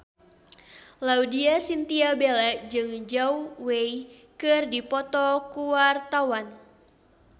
Laudya Chintya Bella jeung Zhao Wei keur dipoto ku wartawan